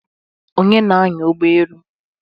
Onye na-anya ụgbọ elu?